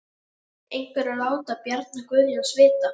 Einhver að láta Bjarna Guðjóns vita?